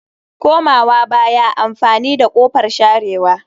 Komawa baya amfani da kofar sharewa